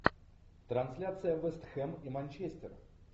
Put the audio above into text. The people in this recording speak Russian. трансляция вест хэм и манчестер